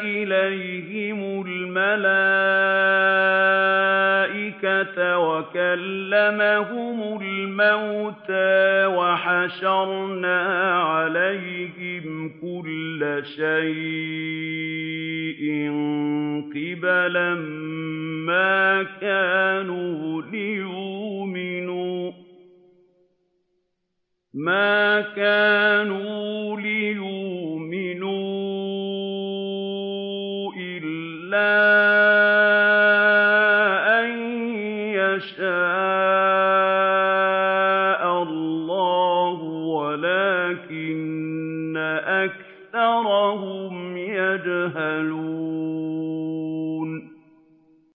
إِلَيْهِمُ الْمَلَائِكَةَ وَكَلَّمَهُمُ الْمَوْتَىٰ وَحَشَرْنَا عَلَيْهِمْ كُلَّ شَيْءٍ قُبُلًا مَّا كَانُوا لِيُؤْمِنُوا إِلَّا أَن يَشَاءَ اللَّهُ وَلَٰكِنَّ أَكْثَرَهُمْ يَجْهَلُونَ